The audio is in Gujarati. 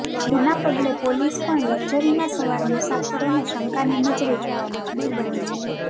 જેના પગલે પોલીસ પણ લકઝરીમાં સવાર મુસાફરોને શંકની નજરે જોવા મજબૂર બની છે